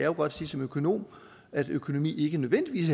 jo godt sige som økonom er økonomi ikke nødvendigvis